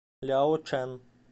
ляочэн